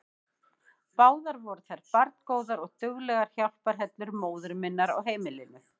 Báðar voru þær barngóðar og duglegar hjálparhellur móður minnar á heimilinu.